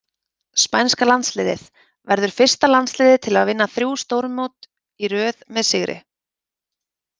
Spænska landsliðið- Verður fyrsta landsliðið til að vinna þrjú stórmót í röð með sigri.